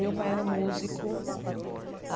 Meu pai era músico.